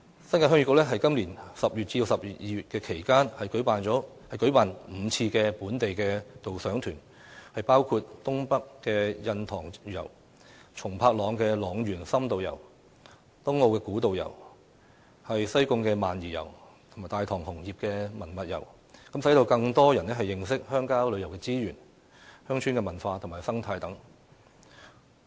新界鄉議局在今年10月至12月期間，舉辦共5次本地導賞團，包括"東北印塘遊"、"塱原松柏塱深度遊"、"東澳古道行"、"西貢萬宜遊"及"大棠紅葉文物遊"，讓更多人認識鄉郊旅遊資源、鄉村文化及生態等。